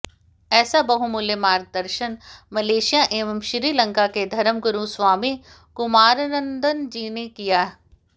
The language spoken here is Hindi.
ऐसा बहुमूल्य मार्गदर्शन मलेशिया एवं श्रीलंकाके धर्मगुरु स्वामी कुमारानंदजीने किया